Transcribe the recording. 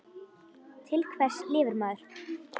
Til hvers lifir maður?